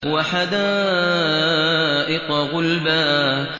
وَحَدَائِقَ غُلْبًا